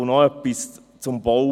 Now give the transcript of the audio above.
Und noch etwas zum Bauen: